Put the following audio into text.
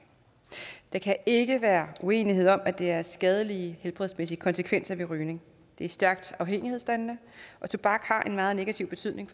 der kan ikke være uenighed om at der er skadelige helbredsmæssige konsekvenser ved rygning det er stærkt afhængighedsdannende og tobak har en meget negativ betydning